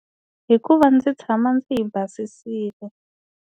Hikuva ndzi tshama ndzi yi basisile.